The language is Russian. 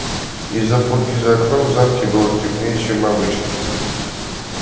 из-за пурги за окнами в замке было темнее чем обычно